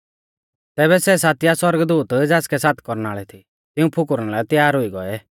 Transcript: तैबै सै सातिआ सौरगदूत ज़ासकै सात कौरनाल़ थी तिऊं फुकुरना लै त्यार हुई गौऐ